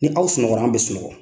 Ni aw sunɔgɔra an bɛ sunɔgɔ.